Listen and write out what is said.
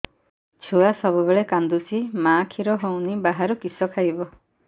ଛୁଆ ସବୁବେଳେ କାନ୍ଦୁଚି ମା ଖିର ହଉନି ବାହାରୁ କିଷ ଖାଇବ